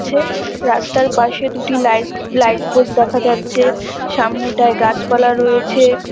ছে রাস্তার পাশে দুটি লাইট লাইট পোস্ট দেখা যাচ্ছে। সামনেটায় গাছপালা রয়েছে।